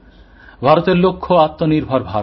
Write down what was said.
ভারতের লক্ষ্য আত্মনির্ভর ভারত